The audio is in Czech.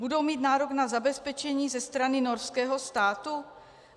Budou mít nárok na zabezpečení ze strany norského státu?